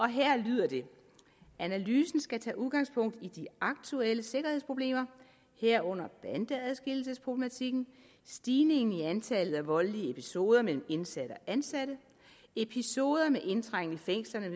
her lyder det analysen skal tage udgangspunkt i de aktuelle sikkerhedsproblemer herunder bandeadskillelsesproblematikken stigningen i antallet af voldelige episoder mellem indsatte og ansatte episoder med indtrængen i fængslerne